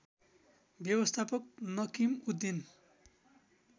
व्यवस्थापक नकिम उद्दिन